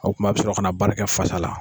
O kuma a bi sɔrɔ ka na baara kɛ fasa la.